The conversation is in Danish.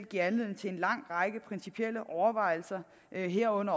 giver anledning til en lang række principielle overvejelser herunder